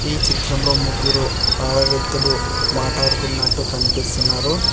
ఈ చిత్రంలో ముగ్గురు ఆడ వ్యక్తులు మాటాడుకున్నట్టు కనిపిస్తున్నారు.